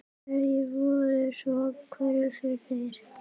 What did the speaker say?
Hverjar voru svo kröfur þeirra?